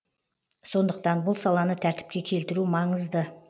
сондықтан бұл саланы тәртіпке келтіру маңызды